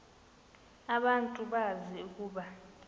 abantu bazi ukuba